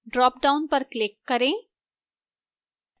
drop down पर click करें